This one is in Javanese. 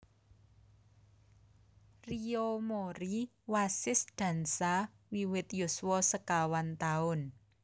Riyo Mori wasis dansa wiwit yuswa sekawan taun